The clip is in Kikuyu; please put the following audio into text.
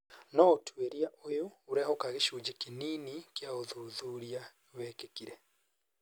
No ũtuĩria ũyũ ũrehoka gĩcunjĩ kĩnini kĩa ũthuthuria wĩkĩkire.